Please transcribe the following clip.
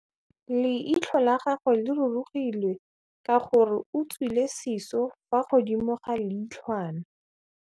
Leitlhô la gagwe le rurugile ka gore o tswile sisô fa godimo ga leitlhwana.